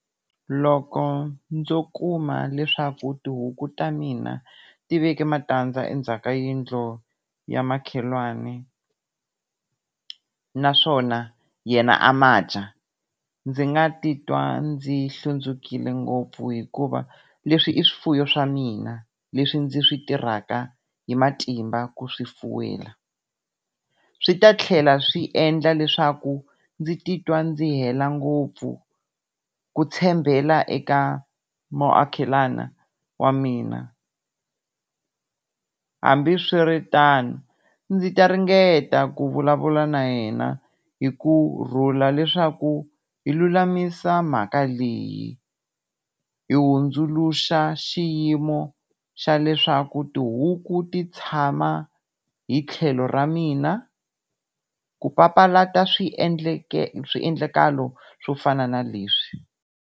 Loko ndzo kuma leswaku tihuku ta mina ti veki matandza endzhaka yindlu ya makhelwani naswona yena a ma dya. Ndzi nga titwa ndzi hlundzukile ngopfu hikuva leswi i swifuwo swa mina, leswi ndzi swi tirhaka hi matimba ku swifuwa. Swi ta tlhela swi endla leswaku ndzi titwa ndzi hela ngopfu ku tshembela eka muakelani wa mina. Hambiswiritano ndzi ta ringeta ku vulavula na yena hi kurhula leswaku hi lulamisa mhaka leyi, hi hundzuluxa xiyimo xa leswaku tihuku ti tshama hi tlhelo ra mina ku papalata swiendleke swiendlakalo swo fana na leswi.